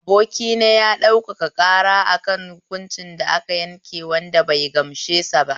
Abokina ya ɗaukaka ƙara akan hukunci da aka yanke a kotu wanda bai gamsuba